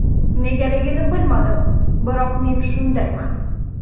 Negaligini bilmadim, biroq men shundayman.